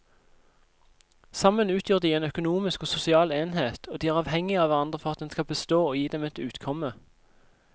Sammen utgjør de en økonomisk og sosial enhet og de er avhengige av hverandre for at den skal bestå og gi dem et utkomme.